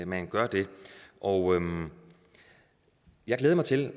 man gør det og jeg glæder mig til